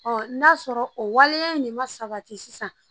n'a sɔrɔ o waleya in de ma sabati sisan